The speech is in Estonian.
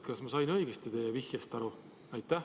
Kas ma sain teie vihjest õigesti aru?